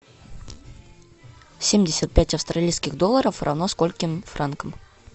семьдесят пять австралийских долларов равно скольким франкам